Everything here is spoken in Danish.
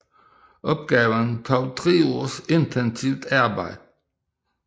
Opgaven tog tre års intensivt arbejde